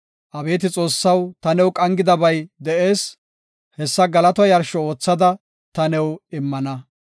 Abeeti Xoossaw ta new qangidabay de7ees; hessa galataa yarsho oothada ta new immana.